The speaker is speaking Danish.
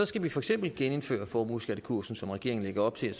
skal vi for eksempel genindføre formueskattekursen som regeringen lægger op til det